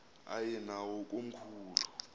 aye nawo komkhulu